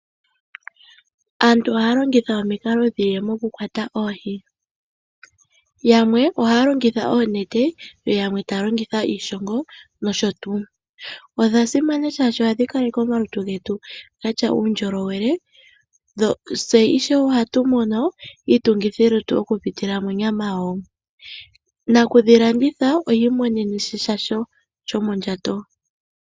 Aantu ohaya longitha omikalo dhi ili mokukwata oohi. Yamwe ohaya longitha oonete yo yamwe taya longitha iishongo nosho tuu. Odha simana, oshoka ohadhi kaleke omalutu getu ge na uundjolowele. Tse ohatu mono iitungithilutu okupitila monyama yadho. Nakudhi landitha ohi imonene sha shomondjato.